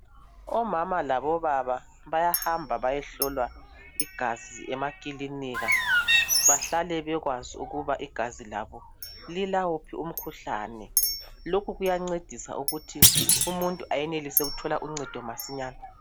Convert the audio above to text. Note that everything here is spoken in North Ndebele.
Omama labobaba bayahamba bayohlolwa igazi emakilinika bahlale bekwazi ukuba igazi labo lilawuphi umkhuhlane lokhu kuyancedisa ukuthi umuntu ayenelise ukuthola uncedo masinyane